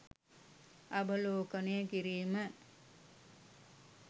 අවලෝකනය කිරීම.